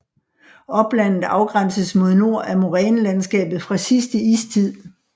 Oplandet afgrænses mod nord af morænelandskabet fra sidste istid